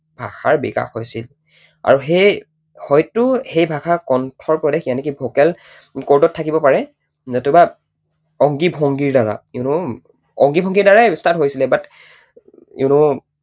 ভাষাৰ বিকাশ হৈছিল। আৰু সেই হয়তো সেই ভাষা কণ্ঠপ্ৰদেশ vocal chord ত থাকিব পাৰে, নতুবা অংগী ভংগীৰ দ্বাৰা you know অংগী ভংগীৰ দ্বাৰাই start হৈছিলে but, you know